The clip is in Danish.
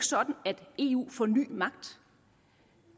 sådan at eu får ny magt